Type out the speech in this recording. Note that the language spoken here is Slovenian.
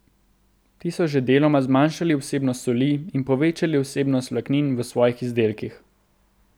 Ti so že deloma zmanjšali vsebnost soli in povečali vsebnost vlaknin v svojih izdelkih.